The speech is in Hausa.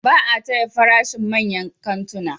Ba a taya farashin manyan kantuna.